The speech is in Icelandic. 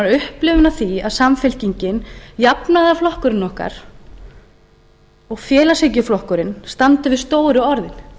upplifun af því að samfylkingin jafnaðarflokkurinn okkar og félagshyggjuflokkurinn standi við stóru orðin